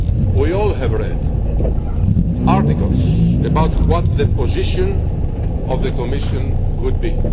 have read we have all read articles about what the position of the Commission might